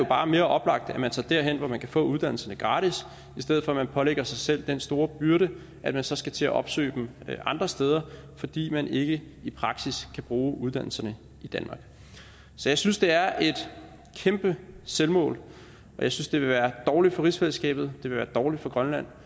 bare mere oplagt at man tager derhen hvor man kan få uddannelserne gratis i stedet for at man pålægger sig selv den store byrde at man så skal til at opsøge dem andre steder fordi man ikke i praksis kan bruge uddannelserne i danmark så jeg synes det er et kæmpe selvmål og jeg synes det vil være dårligt for rigsfællesskabet vil være dårligt for grønland